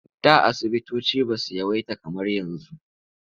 Da asubutoci ba su yawaita kamar yanzu.